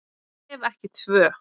Ef ekki tvö.